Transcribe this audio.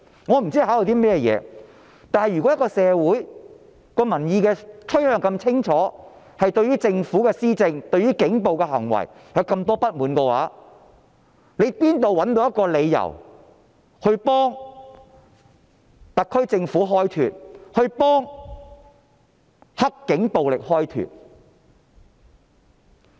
我不知道他們考慮的是甚麼，但如果社會民意取向是如此清楚，對於政府的施政、警暴的行為有這麼多不滿，他們怎可能會找到一個替特區政府、"黑警"暴力開脫的理由？